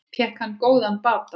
Fékk hann góðan bata.